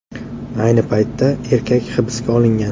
Ayni paytda erkak hibsga olingan.